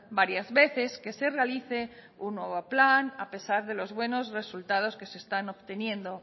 varias veces que se realice un nuevo plan a pesar de los buenos resultados que se están obteniendo